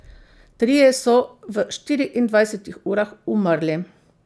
Trije so v štiriindvajsetih urah umrli.